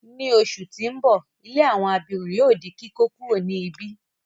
Ni oṣù ti n bọ, ilé àwọn abirùn yóò di kíkókuro ni ibi.